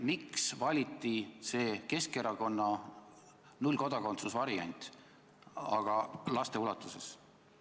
Miks valiti Keskerakonna kodakondsuse nullvariant ja miks just laste puhul?